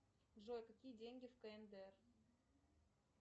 джой какие деньги в кндр